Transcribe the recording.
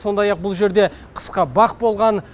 сондай ақ бұл жерде қысқы бақ болған